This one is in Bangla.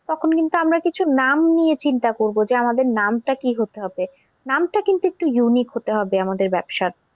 তখন কিন্তু আমরা কিছু নাম নিয়ে কিন্তু করবো যে আমাদের নাম টা কি হতে হবে নামটা কিন্তু একটু unique হতে হবে আমাদের ব্যবসার।